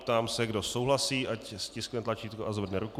Ptám se, kdo souhlasí, ať stiskne tlačítko a zvedne ruku.